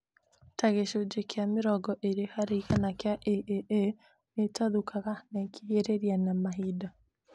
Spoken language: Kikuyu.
Ta gĩcunjĩ kĩa mĩrongo ĩrĩ harĩ igana kĩa AAA nĩĩtathũkaga na ĩkĩhĩrĩria na mahinda